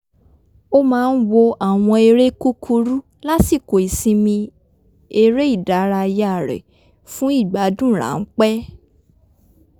ó máa ń wo àwọn eré kúkúrú lásìkò ìsinmi eré ìdárayá rẹ̀ fún ìgbádùn ráńpẹ́